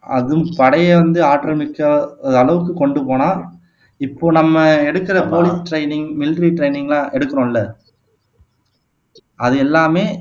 அதுவும் படையே வந்து ஆற்றல் மிக்க அளவுக்கு கொண்டு போனான் இப்போ நம்ம எடுக்குற போலீஸ் ட்ரைனிங் மிலிட்டரி ட்ரைனிங்லாம் எடுக்கிறோம்ல அது எல்லாமே